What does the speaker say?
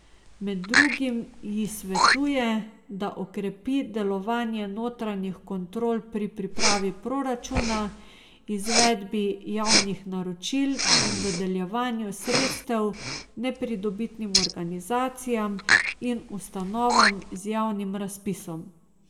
Med drugim ji svetuje, da okrepi delovanje notranjih kontrol pri pripravi proračuna, izvedbi javnih naročil in dodeljevanju sredstev nepridobitnim organizacijam in ustanovam z javnim razpisom.